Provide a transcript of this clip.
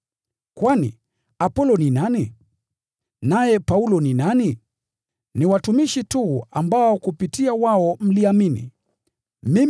Kwani, Apolo ni nani? Naye Paulo ni nani? Ni watumishi tu ambao kupitia wao mliamini, kama vile Bwana alivyompa kila mtu huduma yake.